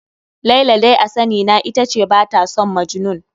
Laila dai a sani na ita ce ba ta son Majnun.